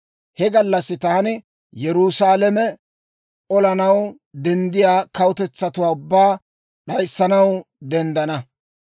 He gallassi taani Yerusaalame olanaw denddiyaa kawutetsatuwaa ubbaa d'ayissanaw denddana.